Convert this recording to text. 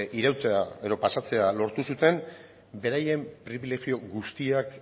irautea edo pasatzea lortu zuten beraien pribilegio guztiak